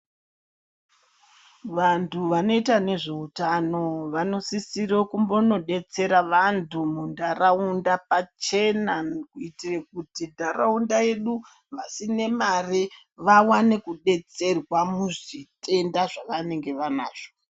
Vantu vanoita nezveutano vanosise kumbonodetsera vantu muntaraunda pachena kuitira kuti ntaraunda yedu vasine mare vawane kudetserwa muzvitenda zvavanenge vanazvo.